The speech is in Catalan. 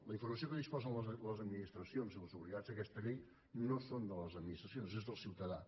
la informació de què disposen les administracions i els obligats d’aquesta llei no és de l’administració és del ciutadà